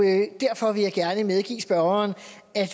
jeg medgive spørgeren